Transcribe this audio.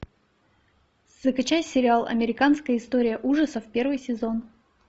закачай сериал американская история ужасов первый сезон